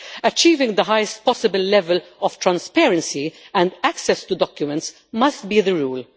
Achieving the highest possible level of transparency and access to documents must be the rule.